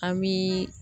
An bi